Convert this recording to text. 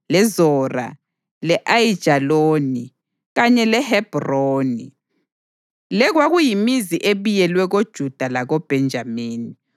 leZora, le-Ayijaloni, kanye leHebhroni. Le kwakuyimizi ebiyelweyo koJuda lakoBhenjamini.